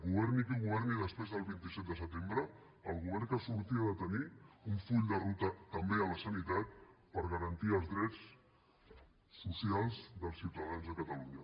governi qui governi després del vint set de setembre el govern que surti ha de tenir un full de ruta també a la sanitat per garantir els drets socials dels ciutadans de catalunya